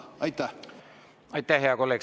Aitäh, hea kolleeg!